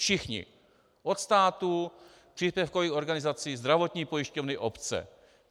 Všichni - od státu, příspěvkových organizací, zdravotní pojišťovny, obce.